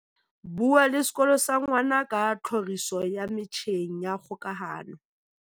Bua le sekolo sa ngwana ka tlhoriso ya metjheng ya kgokahano.